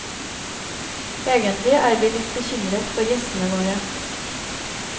Egentlig er vi litt bekymret for gjestene våre.